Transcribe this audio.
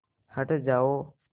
हट जाओ